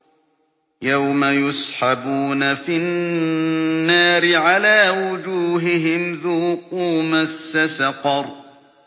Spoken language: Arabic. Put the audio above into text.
يَوْمَ يُسْحَبُونَ فِي النَّارِ عَلَىٰ وُجُوهِهِمْ ذُوقُوا مَسَّ سَقَرَ